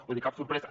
vull dir cap sorpresa